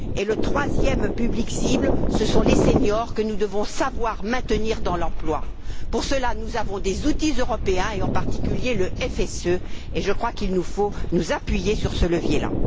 Le troisième public cible, ce sont les seniors que nous devons savoir maintenir dans l'emploi. Pour cela nous avons des outils européens, en particulier le FSE, et je crois qu'il nous faut nous appuyer sur ce levier là.